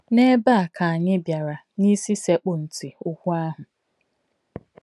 N’ebe a ka anyị bịara n’isi sekpụ ntị okwu ahụ.